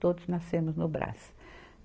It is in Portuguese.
Todos nascemos no Brás.